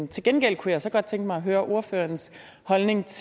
til gengæld kunne jeg så godt tænke mig at høre ordførerens holdning til